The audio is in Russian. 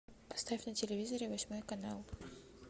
поставь на телевизоре восьмой канал